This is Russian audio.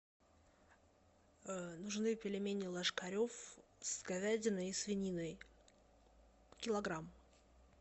нужны пельмени ложкарев с говядиной и свининой килограмм